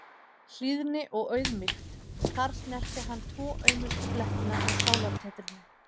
Hlýðni og auðmýkt- þar snerti hann tvo aumustu blettina á sálartetrinu.